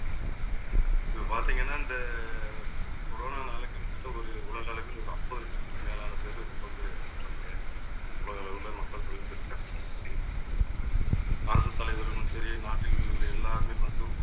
இப்ப பார்த்தீங்கன்னா இந்த corona னால கிட்டத்தட்ட ஒரு உலக அளவில் ஒரு ஐம்பது லட்சத்துக்கு மேலான பேரு ரொம்ப பேர் இறந்துட்டாங்க. உலக அளவுல மக்கள் தொழில் தலைவர்களும் சரி நாட்டில் எல்லாருமே வந்து